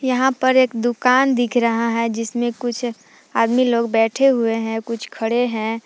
यहां पर एक दुकान दिख रहा है जिसमें कुछ आदमी लोग बैठे हुवे हैं कुछ खड़े हैं।